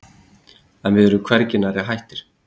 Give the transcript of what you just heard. En við erum hvergi nærri hættir.